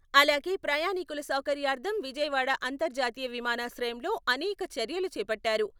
అలాగే ప్రయాణీకుల సౌకర్యార్థం విజయవాడ అంతర్జాతీయ విమానాశ్రయంలో అనేక చర్యలు చేపట్టారు.